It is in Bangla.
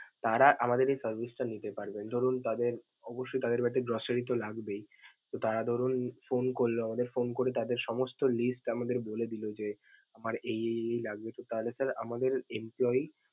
তারা আমাদের এই suggest টা নিতে পারবেন. ধরুন তাদের অবশ্যই তাদের বাড়িতে grocery তো লাগবেই. তারা ধরুন phone করল আমাদের. phone করে আমাদের সমস্ত list আমাদের বলে দিল যে, আমার এই এই লাগবে তাহলে স্যার আমাদের employee ।